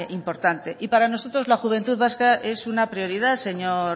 importante y para nosotros la juventud vasca es una prioridad señor